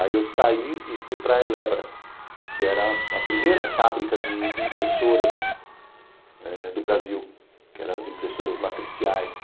Aí eu saí e fui para a Elebra, que era a primeira fábrica de impressoras do Brasil, que eram as impressoras matriciais.